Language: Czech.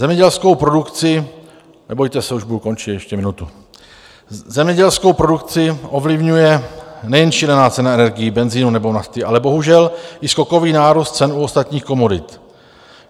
Zemědělskou produkci - nebojte se, už budu končit, ještě minutu - zemědělskou produkci ovlivňuje nejen šílená cena energií, benzinu nebo nafty, ale bohužel i skokový nárůst cen u ostatních komodit.